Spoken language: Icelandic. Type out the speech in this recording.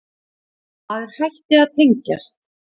Maður hætti að tengjast.